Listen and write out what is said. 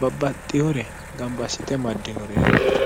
babbaxxihore gambassite maddinoreeti